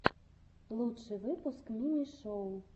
лучший выпуск мими шоу